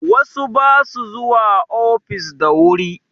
Wasu ba su zuwa ofis da wuri